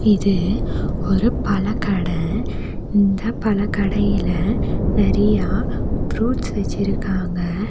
இது ஒரு பழக்கட இந்த பழக்கடைல நெறையா ப்ரூட்ஸ் வச்சிருக்காங்க.